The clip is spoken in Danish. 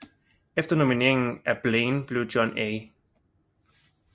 Efter nomineringen af Blaine blev John A